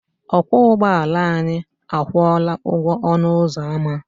Ọkwọ ụgbọala anyị akwụọla ụgwọ ọnụ ụzọ ama.